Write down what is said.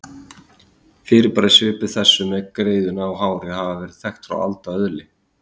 Fyrirbæri svipuð þessu með greiðuna og hárið hafa verið þekkt frá alda öðli.